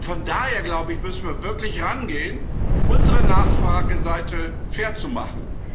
Von daher glaube ich müssen wir wirklich darangehen, unsere Nachfrageseite fair zu machen.